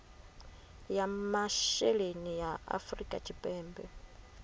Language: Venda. ya masheleni ya afrika tshipembe